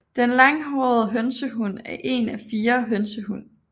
Den Langhåret hønsehund er en af fire hønsehund